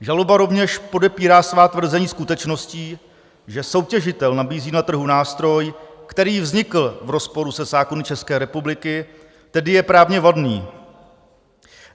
Žaloba rovněž podpírá svá tvrzení skutečností, že soutěžitel nabízí na trhu nástroj, který vznikl v rozporu se zákony České republiky, tedy je právně vadný.